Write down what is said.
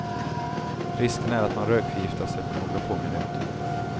Risken är att man rökförgiftas efter några få minuter.